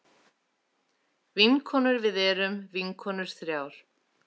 Vinkonur við erum vinkonur þrjár.